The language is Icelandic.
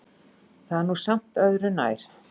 Það er nú samt öðru nær.